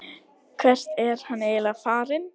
Hvert er hann eiginlega farinn?